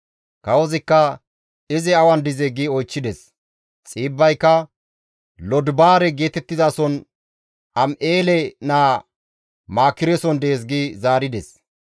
Kawozikka, «Izi awan dizee?» gi oychchides; Xiibbayka, «Lodibaare geetettizason Am7eele naa Maakireson dees» gi zaarides.